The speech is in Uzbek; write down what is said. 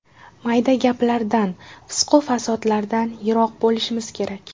Mayda gaplardan, fisqu-fasodlardan yiroq bo‘lishimiz kerak.